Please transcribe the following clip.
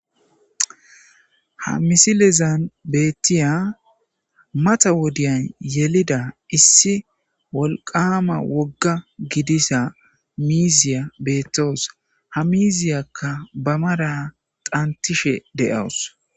Ha missilezan bettiya mata wodiyan yelleida issi wolqqama wogga gidizza miziya bettawus ha miziyakka ba mara dhnttishe de'awus.